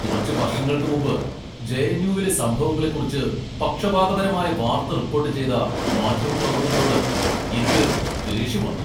കുറച്ച് വർഷങ്ങൾക്ക് മുമ്പ് ജെ.എൻ.യു.വിലെ സംഭവങ്ങളെക്കുറിച്ച് പക്ഷപാതപരമായ വാർത്ത റിപ്പോർട്ട് ചെയ്ത മാധ്യമപ്രവർത്തകരോട് എനിക്ക് ദേഷ്യം വന്നു.